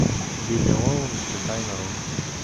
билли оуэнс и тайна рун